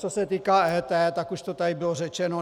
Co se týká EET, tak už to tady bylo řečeno.